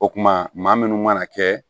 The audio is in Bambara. O kuma maa minnu mana kɛ